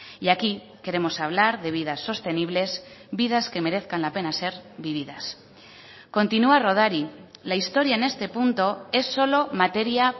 y aquí queremos hablar de vidas sostenibles vidas que merezcan la pena ser vividas continúa rodari la historia en este punto es solo materia